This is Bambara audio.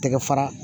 Tɛgɛ fara